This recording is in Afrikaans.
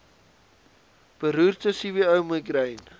beroerte cvo migraine